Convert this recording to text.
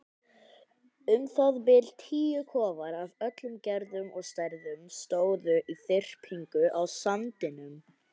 Um það bil tíu kofar af öllum gerðum og stærðum stóðu í þyrpingu á sandinum.